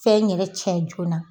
Fɛn yɛrɛ cɛn joona